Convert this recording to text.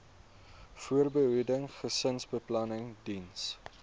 voorbehoeding gesinsbeplanning diens